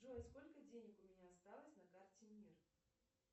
джой сколько денег у меня осталось на карте мир